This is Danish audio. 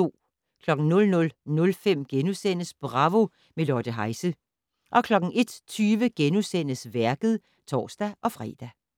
00:05: Bravo - med Lotte Heise * 01:20: Værket *(tor-fre)